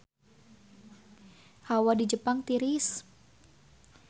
Hawa di Jepang tiris